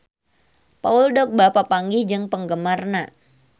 Paul Dogba papanggih jeung penggemarna